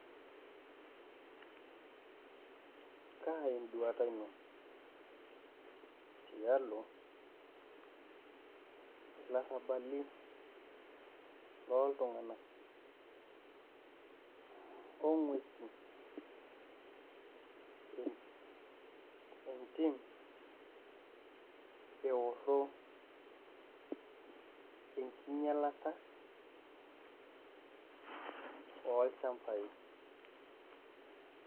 Kaa enduata ino tialo ilarrabali, looltung'anak ong'uesi entim eorro enkinyialata olchambai?